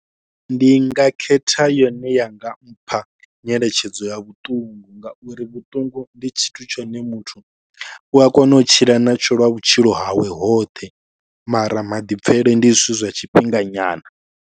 Ndi nga khetha yone i nga mpha nyeletshedzo ya vhuṱungu ngauri vhuṱungu ndi tshithu tshine muthu u a kona u tshila natsho lwa vhutshilo hawe hoṱhe mara maḓipfhele ndi zwithu zwa tshifhinga nyana.